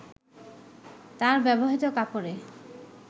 তার ব্যবহৃত কাপড়ে